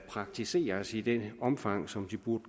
praktiseres i det omfang som de burde